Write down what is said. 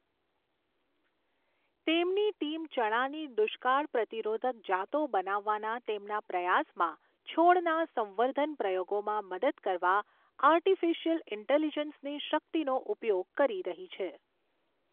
તેમની ટીમ ચણાની દુષ્કાળ પ્રતિરોધક જાતો બનાવવાના તેમના પ્રયાસમાં છોડના સંવર્ધન પ્રયોગોમાં મદદ કરવા આર્ટિફિશિયલ ઈન્ટેલિજન્સની શક્તિનો ઉપયોગ કરી રહી છે.